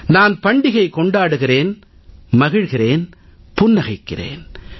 நான் பண்டிகை கொண்டாடுகிறேன் மகிழ்கிறேன் புன்னகைக்கிறேன்